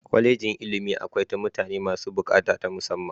Kwallejin ilimi akwai ta mutane masu bukata ta musamman.